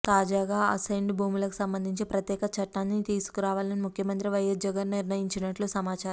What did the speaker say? తాజాగా అసైన్డ్ భూములకు సంబంధించి ప్రత్యేక చట్టాన్ని తీసుకురావాలని ముఖ్యమంత్రి వైఎస్ జగన్ నిర్ణయించినట్లు సమాచారం